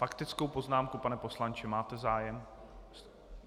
Faktickou poznámku, pane poslanče, máte zájem?